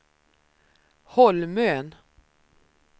Holmön